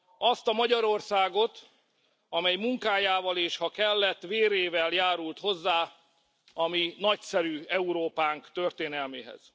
Azt a Magyarországot, amely munkájával, és ha kellett, vérével járult hozzá a mi nagyszerű Európánk történelméhez.